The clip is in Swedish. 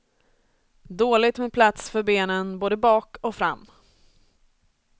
Dåligt med plats för benen både bak och fram.